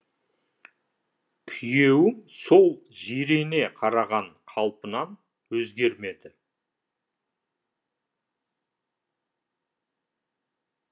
күйеуім сол жирене қараған қалпынан өзгермеді